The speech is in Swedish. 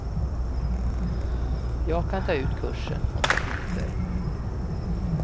Jag kan ta ut kursen om det kniper.